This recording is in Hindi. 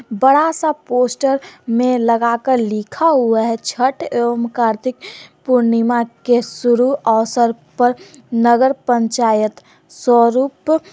बड़ा सा पोस्टर में लगाकर लिखा हुआ है छठ एवं कार्तिक पूर्णिमा के शुरू अवसर पर नगर पंचायत स्वरूप--